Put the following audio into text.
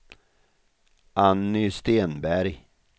Anny Stenberg